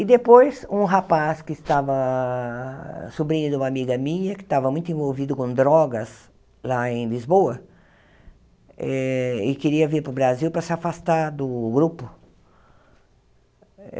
E depois, um rapaz que estava sobrinho de uma amiga minha, que estava muito envolvido com drogas lá em Lisboa, eh e queria vir para o Brasil para se afastar do grupo.